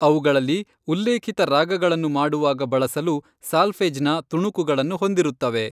ಅವುಗಳಲ್ಲಿ ಉಲ್ಲೇಖಿತ ರಾಗಗಳನ್ನು ಮಾಡುವಾಗ ಬಳಸಲು ಸಾಲ್ಫೆಜ್ನ ತುಣುಕುಗಳನ್ನು ಹೊಂದಿರುತ್ತವೆ.